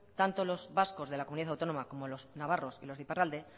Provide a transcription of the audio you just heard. tanto los vascos de la comunidad autónoma como los navarros y los de iparralde